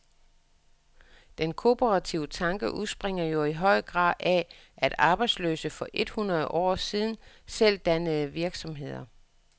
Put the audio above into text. Den kooperative tanke udspringer jo i høj grad af, at arbejdsløse for et hundrede år siden selv dannede virksomheder.